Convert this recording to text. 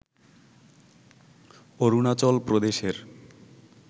অরুণাচল প্রদেশের